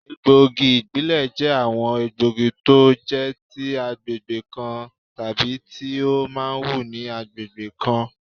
Egbògi ibibẹ̀ jẹ́ àwọn egbògi tó jẹ́ ti agbègbè kan tàbí tí ó máa wù ní agbègbè kan